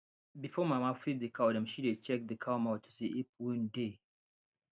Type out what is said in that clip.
before mama feed the cow dem she dey check the cow mouth to see if wound dey